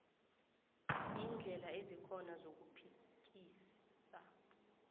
iindlela ezikhona zokuphikisa